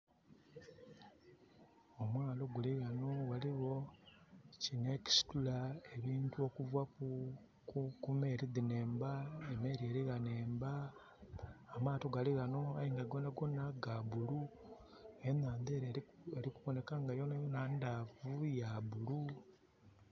Omwalo guli wano. Waliwo kino ekisitula ebintu okuva ku meeri dino emba, emeeri eri wano emba. Amaato gali wano aye nga gonagona ga blue. Enanda eri kuboneka nga yonayona ndaavu, ya blue